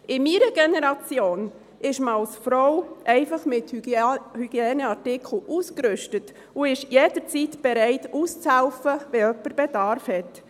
In meiner Generation ist man als Frau einfach mit Hygieneartikeln ausgerüstet und ist jederzeit bereit, auszuhelfen, wenn jemand Bedarf hat.